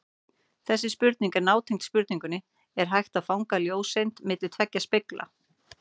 Þessi spurning er nátengd spurningunni Er hægt að fanga ljóseind milli tveggja spegla?